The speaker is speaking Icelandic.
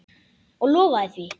Og lofaði því.